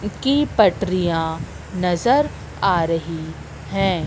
की पटरियां नजर आ रही है।